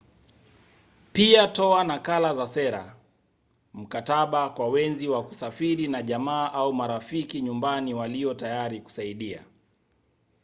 pia toa nakala za sera/mkataba kwa wenzi wa kusafiri na jamaa au marafiki nyumbani walio tayari kusaidia